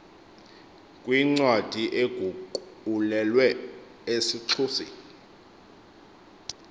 kwincwadi eguqulelwe esixhoseni